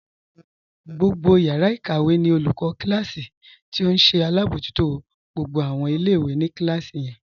Gbogbo yàrà ikàwẹ̀ ní olùkọ̀ kílásí̀ tí ó nṣẹ abọ̀jútó gbogbo awọn ọmọ ilẹ̀-ìwé ní kílásí yẹn.